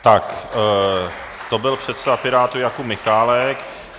Tak to byl předseda Pirátů Jakub Michálek.